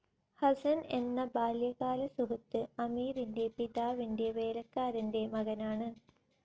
ഹസ്സൻ എന്ന ബാല്യകാല സുഹൃത്ത് അമീറിൻ്റെ പിതാവിൻ്റെ വേലക്കാരൻ്റെ മകനാണ്.